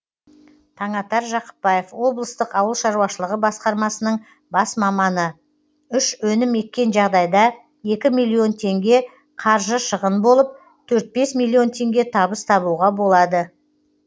таңатар жақыпбаев облыстық ауыл шаруашылығы басқармасының бас маманы үш өнім еккен жағдайда екі миллион теңге қаржы шығын болып төрт бес миллион теңге табыс табуға болады